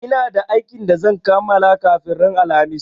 Ina da aikin da zan kamala kafin ran alhamis